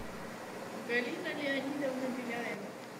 галина леонидовна беляева